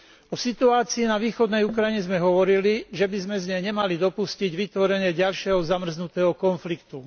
O situácii na východnej Ukrajine sme hovorili, že by sme z nej nemali dopustiť vytvorenie ďalšieho zamrznutého konfliktu.